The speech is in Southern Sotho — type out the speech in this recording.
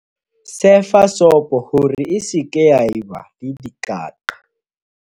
sefa sopo hore e se ke ya eba le dikaqa